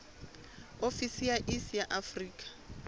ofisi ya iss ya afrika